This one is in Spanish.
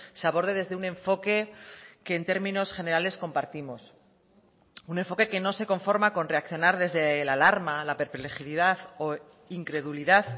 se aborde desde un enfoque que en términos generales compartimos un enfoque que no se conforma con reaccionar desde la alarma la perplejidad o incredulidad